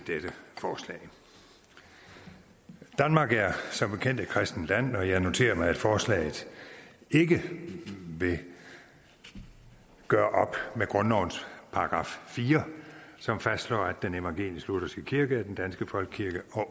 dette forslag danmark er som bekendt et kristent land og jeg noterer mig at forslaget ikke vil gøre op med grundlovens § fire som fastslår at den evangelisk lutherske kirke er den danske folkekirke